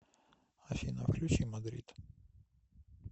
афина включи мадрид